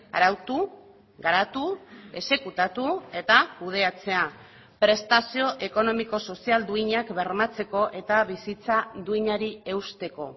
arautu garatu exekutatu eta kudeatzea prestazio ekonomiko sozial duinak bermatzeko eta bizitza duinari eusteko